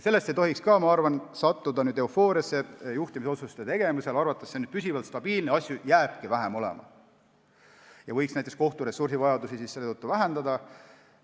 Sellest ei tohiks, ma arvan, sattuda juhtimisotsuste tegemisel eufooriasse ja arvata, et see on stabiilne, asju hakkabki vähem olema ja võiks näiteks kohturessursse seetõttu vähendada.